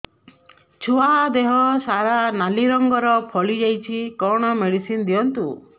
ଛୁଆ ଦେହ ସାରା ନାଲି ରଙ୍ଗର ଫଳି ଯାଇଛି କଣ ମେଡିସିନ ଦିଅନ୍ତୁ